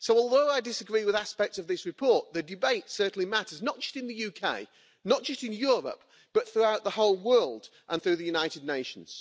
So although I disagree with aspects of this report, the debate certainly matters, not just in the UK, not just in Europe, but throughout the whole world and through the United Nations.